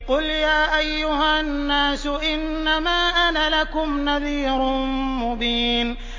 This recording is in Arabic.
قُلْ يَا أَيُّهَا النَّاسُ إِنَّمَا أَنَا لَكُمْ نَذِيرٌ مُّبِينٌ